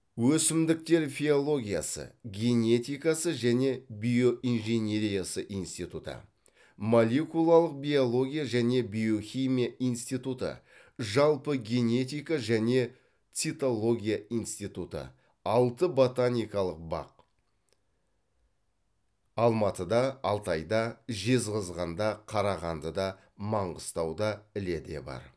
өсімдіктер фиологиясы генетикасы және биоинженериясы институты молекулалық биология және биохимия институты жалпы генетика және цитология институты алты ботаникалық бақ алматыда алтайда жезқазғанда қарағандыда маңғыстауда іледе бар